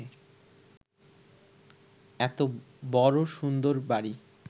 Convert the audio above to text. এত বড় সুন্দর বাড়ি